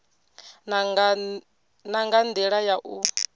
na nga ndila ya u